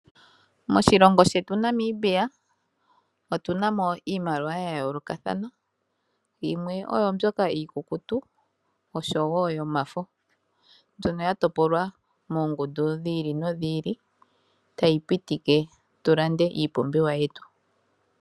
Moshilongo shetu Namibia otu namo iimaliwa ya yoolokathana. Yimwe oyo mbyoka iikukutu nosho wo yomafo, mbyono ya topolwa moongudu dhiili nodhi ili tayi pitike tu lande iipumbiwa yetu.